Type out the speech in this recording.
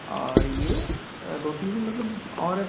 और ये अ दो तीन मतलब औरत --